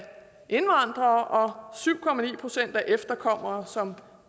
indvandrere og syv procent af efterkommere som